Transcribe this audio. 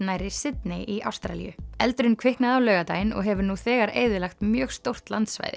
nærri Sydney í Ástralíu eldurinn kviknaði á laugardaginn og hefur nú þegar eyðilagt mjög stórt